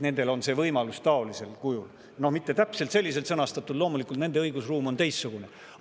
Nendel on see võimalus taolisel kujul, aga mitte täpselt selliselt sõnastatud, loomulikult on nende õigusruum teistsugune.